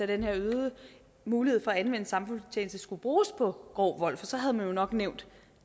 den her øgede mulighed for at anvende samfundstjeneste skulle bruges på grov vold for så havde man jo nok nævnt